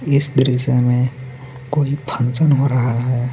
इस दृश्य में कोई फंक्शन हो रहा है.